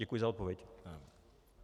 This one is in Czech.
Děkuji za odpověď.